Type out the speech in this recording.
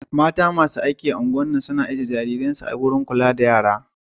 Mata masu aiki a'ungwar na, kan zuwa ijie jarirai'n su a gidan kulla da yara na.